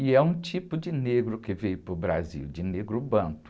E é um tipo de negro que veio para o Brasil, de negro bantu.